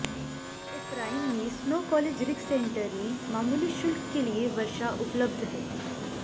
Ephraim में Snow College rec centre में मामूली शुल्क के लिए वर्षा उपलब्ध है